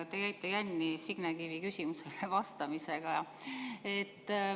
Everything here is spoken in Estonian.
Te jäite jänni Signe Kivi küsimusele vastamisega.